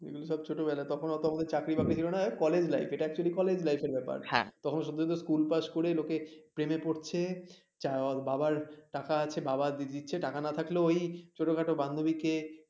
তো ছোটবেলা তখন অত আমাদের চাকরি বাকরি ছিল না এই কলেজ life এটা actually কলেজ life র ব্যাপার তখন সদ্যোজাত স্কুল পাস করে লোকে প্রেমে পড়ছে বাবার টাকা আছে gift দিচ্ছে টাকা না থাকলেও ওই ছোটখাটো বান্ধবীকে